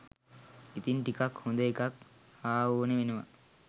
ඉතින් ටිකක් හොදඑකක් හාඕනේ වෙනවා.